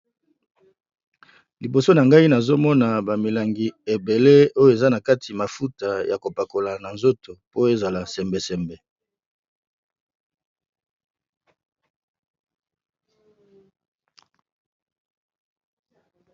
Liboso na ngai, nazo mona ba milangi ebele. Oyo eza na kati mafuta ya kopakola na nzoto po ezala sembesembe.